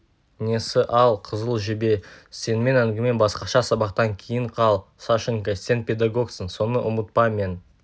несі ал қызыл жебе сенімен әңгіме басқаша сабақтан кейін қал сашенька сен педагогсың соны ұмытпа мен